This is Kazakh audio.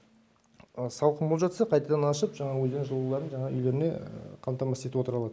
салқын болып жатса қайтадан ашып жаңағы өздерінің жылуларын жаңа үйлеріне қамтамасыз етіп отыра алады